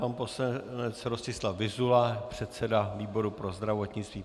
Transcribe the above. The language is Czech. Pan poslanec Rostislav Vyzula, předseda výboru pro zdravotnictví.